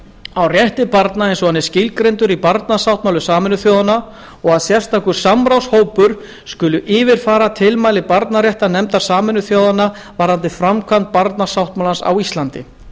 á rétti barna eins og hann er skilgreindur í barnasáttmála sameinuðu þjóðanna og að sérstakur samráðshópur skuli yfirfara tilmæli barnaréttarnefndar sameinuðu þjóðanna varðandi framkvæmd barnasáttmálans á íslandi